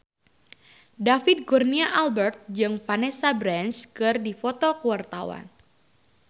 David Kurnia Albert jeung Vanessa Branch keur dipoto ku wartawan